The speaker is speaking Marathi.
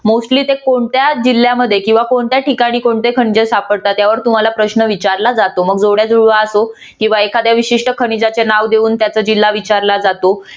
mostly ते कोणत्या जिल्ह्यामध्ये किंवा कोणत्या ठिकाणी कोणते खनिजे सापडतात त्यावर तुम्हाला प्रश्न विचारला जातो मग जोड्या जुळवा असो किंवा एखाद्या विशिष्ट खनिजाचे नाव देऊन त्याचा जिल्हा विचारला जातो.